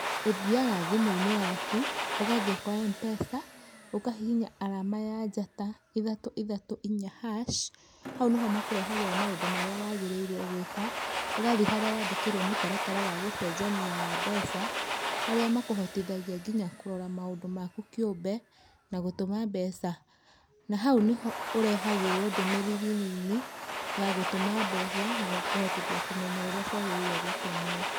Ũthiaga thimu-inĩ yaku, ũgathiĩ kwa Mpesa ũkahihinya arama ya njata ithatũ ithatũ inya hash, hau nĩho makũrehagĩra maũndu marĩa wagĩrĩiruo gwĩka, ũgathiĩ harĩa wandĩkĩrwo mũtaratara wa gũcenjania wa mbeca, harĩa makũhotithagia nginya kũrora maũndũ maku kĩumbe, na gũtũma mbeca. Na hau nĩho ũrehagĩrwo ndũmĩrĩri nini ,ya gũtũma mbeca na gũkũhotithia kũmenya ũrĩa ciagĩrĩiruo nĩ gũtũmwo.